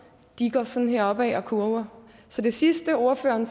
går sådan her opad og kurver så det sidste ordføreren